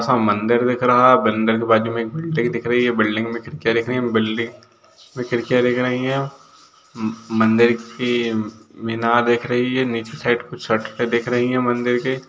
सा मंदिर दिख रहा बंदर का बाजु एक बिल्डिंग दिख रही है बिल्डिंग खिड़कियाँ दिख रही है मंदिर की म-मीनार दिख रही है निचे साइड कुछ सटके दिख रही है मंदिर के